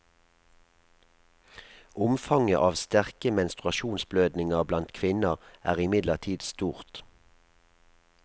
Omfanget av sterke menstruasjonsblødninger blant kvinner er imidlertid stort.